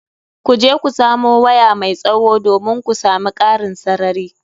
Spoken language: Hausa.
Ku je ku samo waya mai tsawo, domin ku sami ƙarin sarari.